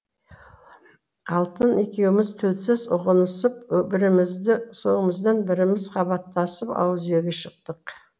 алтын екеуміз тілсіз ұғынысып біріміздің соңымыздан біріміз қабаттасып ауыз үйге шықтық